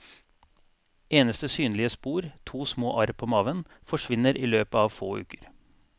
Eneste synlige spor, to små arr på maven, forsvinner i løpet av få uker.